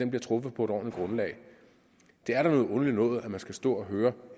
bliver truffet på et ordentligt grundlag det er da noget underligt noget at man skal stå og høre